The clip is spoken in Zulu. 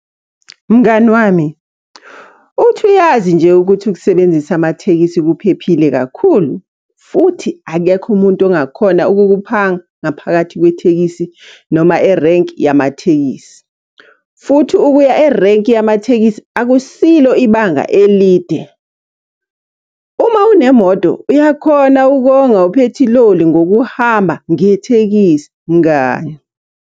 Mngani wami, uthi uyazi nje ukuthi ukusebenzisa amathekisi kuphephile kakhulu? Futhi akekho umuntu ongakhona ukukuphampa ngaphakathi kwethekisi noma erenki yamathekisi. Futhi ukuya erenki yamathekisi akusilo ibanga elide. Uma unemoto uyakhona ukonga uphethiloli ngokuhamba ngethekisi, mngani.